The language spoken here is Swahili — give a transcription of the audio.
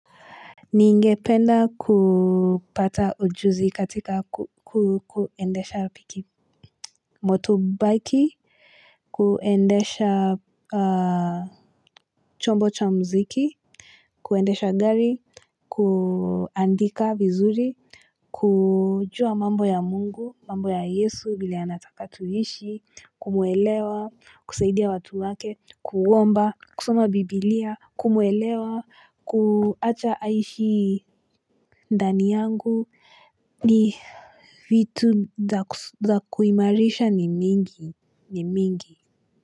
Ningependa kupata ujuzi katika kuendesha piki Motobaiki kuendesha chombo cha mziki kuendesha gari kuandika vizuri kujua mambo ya mungu mambo ya yesu vile anataka tuishi kumuelewa kusaidia watu wake kuomba kusoma bibilia kumuwelewa kuacha aishi ndani yangu ni vitu za kuimarisha ni mingi.